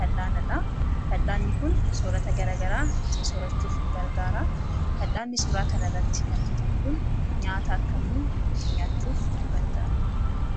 fal'aanadha. Fal'aanni kun soorata garagaraa ittiin soorachuuf nu gargaara. Fal'aanni suuraa kanarratti argitan kun nyaata akkamii ittiin nyaachuuf nu gargaara?